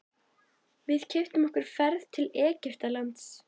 Við keyptum okkur ferð til Egyptalands.